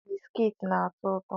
Biskiti na-atọ ụtọ